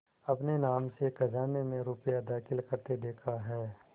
अपने नाम से खजाने में रुपया दाखिल करते देखा है